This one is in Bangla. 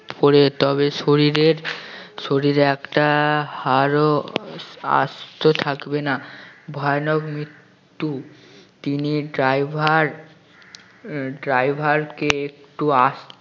পড়ে তবে শরীরের শরীরে একটা হাড়ও আস্ত থাকবে না ভয়ানক মৃত্যু তিনি driver আহ driver কে একটু আস্তে